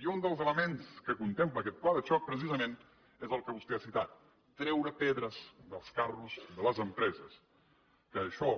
i un dels elements que contempla aquest pla de xoc precisament és el que vostè ha citat treure pedres dels carros de les empreses que això